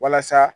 Walasa